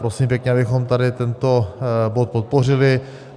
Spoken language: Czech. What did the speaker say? Prosím pěkně, abychom tady tento bod podpořili.